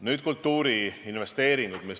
Nüüd kultuuriinvesteeringud.